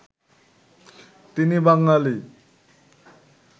তিনি বাঙালি